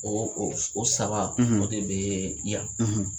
Ɔ o saba o de bɛ yan